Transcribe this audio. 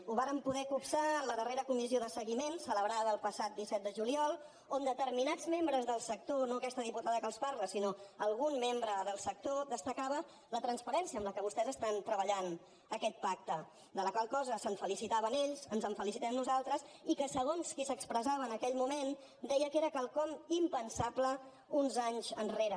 ho vàrem poder copsar en la darrera comissió de seguiment celebrada el passat disset de juliol on determinats membres del sector no aquesta diputada que els parla sinó algun membre del sector destacaven la transparència amb la qual vostès estan treballant aquest pacte de la qual cosa es felicitaven ells ens en felicitem nosaltres i segons qui s’expressava en aquell moment deia que era quelcom impensable uns anys enrere